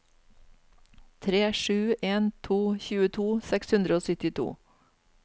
tre sju en to tjueto seks hundre og syttito